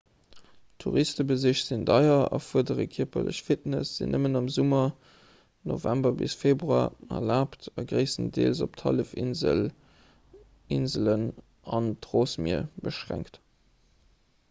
touristebesich sinn deier erfuerdere kierperlech fitness sinn nëmmen am summer november bis februar erlaabt a gréisstendeels op d'hallefinsel inselen an d'rossmier beschränkt